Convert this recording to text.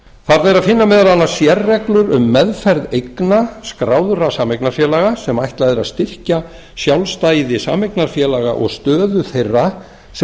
þar ber að finna meðal annars sérreglur um meðferð eigna skráðra sameignarfélaga sem ætlað er að styrkja sjálfstæði sameignarfélaga og stöðu þeirra sem